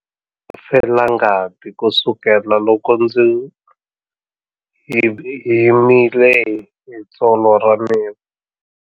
Felangati kusukela loko ndzi himile hi tsolo ra mina.